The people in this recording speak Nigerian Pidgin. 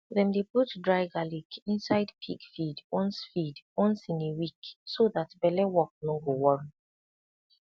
dem dey put dry garlic inside pig feed once feed once in a week so that belle work no go worry